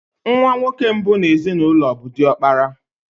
Nwa nwoke mbụ n'ezinụlọ bụ diokpara.